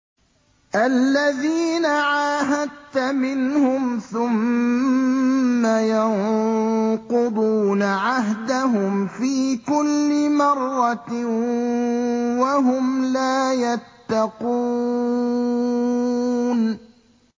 الَّذِينَ عَاهَدتَّ مِنْهُمْ ثُمَّ يَنقُضُونَ عَهْدَهُمْ فِي كُلِّ مَرَّةٍ وَهُمْ لَا يَتَّقُونَ